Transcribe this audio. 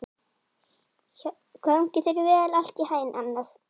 Gangi þér allt í haginn, Annel.